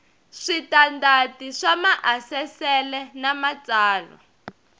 switandati swa maasesele na matsalwa